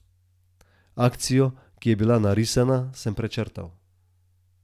Akcijo, ki je bila narisana, sem prečrtal.